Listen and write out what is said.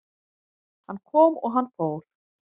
Hann kom og hann fór